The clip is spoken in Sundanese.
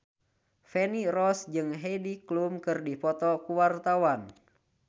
Feni Rose jeung Heidi Klum keur dipoto ku wartawan